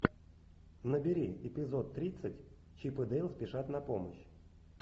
набери эпизод тридцать чип и дейл спешат на помощь